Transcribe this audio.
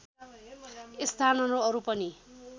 स्थानहरू अरू पनि